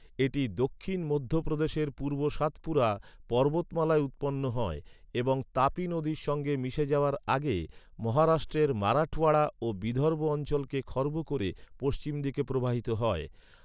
এটি দক্ষিণ মধ্যপ্রদেশের পূর্ব সাতপুরা পর্বতমালায় উৎপন্ন হয় এবং তাপি নদীর সঙ্গে মিশে যাওয়ার আগে, মহারাষ্ট্রের মারাঠওয়াড়া ও বিদর্ভ অঞ্চলকে খর্ব করে পশ্চিম দিকে প্রবাহিত হয়।